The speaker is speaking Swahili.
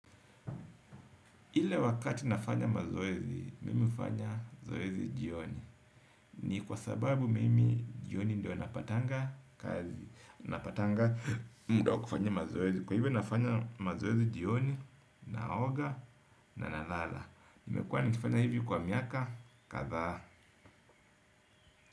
Ile wakati nafanya mazoezi, mimi hufanya zoezi jioni. Ni kwa sababu mimi jioni ndio napatanga kazi. Napatanga mda wa kufanya mazoezi. Kwa hivyo nafanya mazoezi jioni naoga na nalala nimekuwa nikifanya hivi kwa miaka, kadhaa.